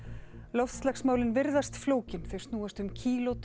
loftslagsmálin virðast flókin þau snúast um